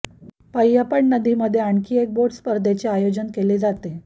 पय्यपड नदीममध्ये आणखी एक बोट स्पर्धेचे आयोजन केले जाते